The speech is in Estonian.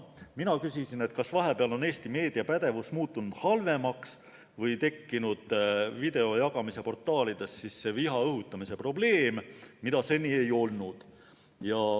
Mina küsisin, kas vahepeal on Eesti meediapädevus muutunud halvemaks või tekkinud video jagamise portaalides viha õhutamise probleem, mida seni ei ole olnud.